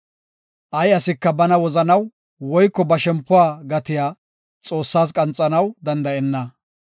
Ay asika bana wozanaw, woyko ba shempuwa gatiya Xoossas qanxanaw danda7enna.